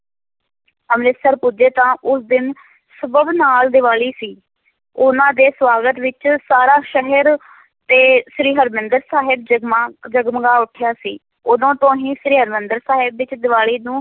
ਅੰਮ੍ਰਿਤਸਰ ਪੁੱਜੇ ਤਾਂ ਉਸ ਦਿਨ ਸਬੱਬ ਨਾਲ ਦੀਵਾਲੀ ਸੀ, ਉਹਨਾਂ ਦੇ ਸਵਾਗਤ ਵਿੱਚ ਸਾਰਾ ਸ਼ਹਿਰ ਤੇ ਸ੍ਰੀ ਹਰਿਮੰਦਰ ਸਾਹਿਬ ਜਮਗਾ, ਜਗਮਗਾ ਉਠਿਆ ਸੀ, ਉਦੋਂ ਤੋਂ ਹੀ ਸ੍ਰੀ ਹਰਿਮੰਦਰ ਸਾਹਿਬ ਵਿੱਚ ਦੀਵਾਲੀ ਨੂੰ